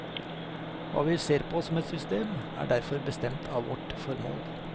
Hva vi ser på som et system, er derfor bestemt av vårt formål.